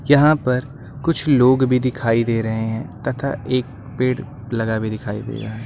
यहां पर कुछ लोग भी दिखाई दे रहे हैं तथा एक पेड़ लगा भी दिखाई दे रहा है।